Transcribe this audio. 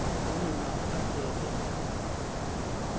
nani ma adebe